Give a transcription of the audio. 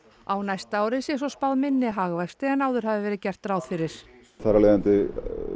á næsta ári sé svo spáð minni hagvexti en áður hafir verið gert ráð fyrir þar af leiðandi